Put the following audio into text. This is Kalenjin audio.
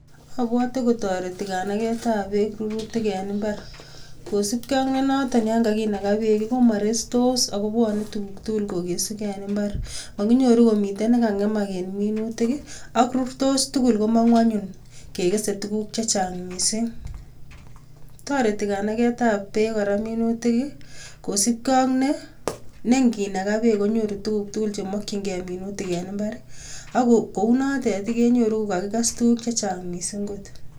Obwote kotoreti kanaketab beek rurutik en imbar kosipke ak noton neyoon kakinakaa beek komorestos ak kobwone tukuk tukul kokesukee en imbar, mokinyoru komiten nekangemak en minutik ak rurtos tukul komong'u anyun kekese tukuk chechang mising, toreti kora kaneketab beek minutik kosipkee ak nenginaka beek konyoru tukuk tukul chemokying'e minutik en imbar ak kounotet kenyoru ko kakies chechang mising kot.